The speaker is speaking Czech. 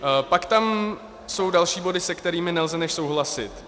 Pak tam jsou další body, se kterými nelze než souhlasit.